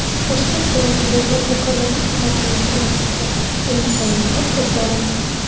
Toshkent viloyatida tadbirkorlarni tuhmat bilan qamattirgan militsionerlar qo‘lga olindi.